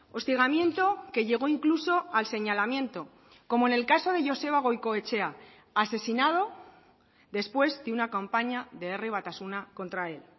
hostigamiento que llegó incluso al señalamiento como en el caso de joseba goikoetxea asesinado después de una campaña de herri batasuna contra él